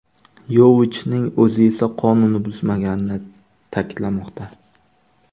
Yovichning o‘zi esa qonunni buzmaganini ta’kidlamoqda.